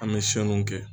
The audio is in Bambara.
An bɛ kɛ